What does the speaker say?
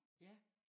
Ja